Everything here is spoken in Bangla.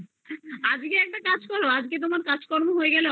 আজকে একটা কাজ করো আজকে তোমার office থেকে কাজকর্ম